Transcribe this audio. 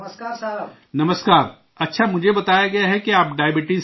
نمسکار! اچھا، مجھے بتایا گیا ہے کہ آپ ڈائبٹیز کے مریض ہیں